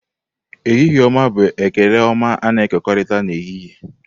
Ehihie-oma bụ ekele ọma a-na ekokorita na ehihie.